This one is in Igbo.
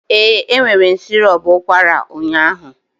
Ee, m were sirop ụkwara m ụnyaahụ.